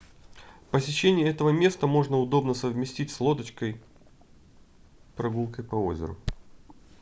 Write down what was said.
посещение этого места можно удобно совместить с лодочной прогулкой по озеру